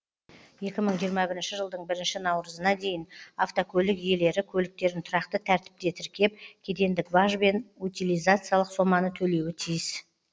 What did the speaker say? екі мың жиырма бірінші жылдың бірінші наурызына дейін автокөлік иелері көліктерін тұрақты тәртіпте тіркеп кедендік баж бен утилизациялық соманы төлеуі тиіс